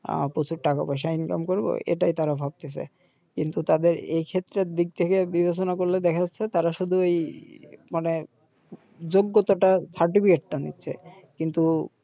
আ প্রচুর টাকা পয়সা করব এটাই তারা ভাবতেসে কিন্তু তাদের এই ক্ষেত্রের দিক থেকে বিবেচনা করলে দেখা যাচ্ছে তারা শুধুই মানে যোগ্যতাটার টা নিচ্ছে